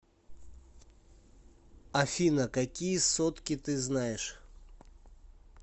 афина какие сотки ты знаешь